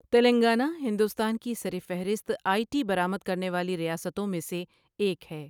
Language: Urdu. تلنگانہ ہندوستان کی سرفہرست آئی ٹی برآمد کرنے والی ریاستوں میں سے ایک ہے۔